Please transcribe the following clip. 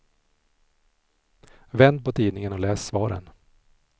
Vänd på tidningen och läs svaren.